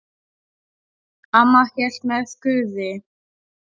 Amma hélt með Guði.